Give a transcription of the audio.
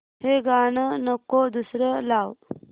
हे गाणं नको दुसरं लाव